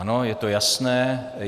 Ano, je to jasné.